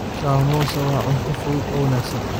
Samosa waa cunto fudud oo wanaagsan.